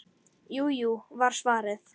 Jú, jú var svarið.